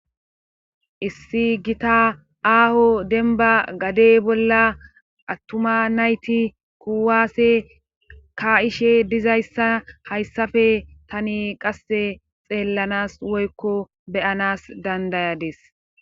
issi gita aaho denba gadey bolla attuma nayti kuwaase ka7ishe dizayssa hayssafe tani qasse xeellanas woykko beyanas dandayades